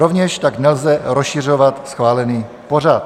Rovněž tak nelze rozšiřovat schválený pořad.